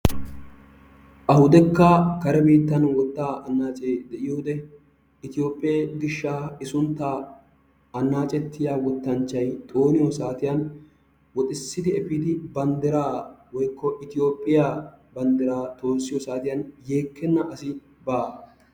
Awudekka kare biittan wottaa annaacee de"iyo wode Ityoophphee gishshaa i sunttaa annaacettiya wottanchchayi xooniyo saatiyan woxissidi efiidi banddiraa woykko Itiyoophphiya banddiraa toossiyo saatiyan yeekkenna asi baawa.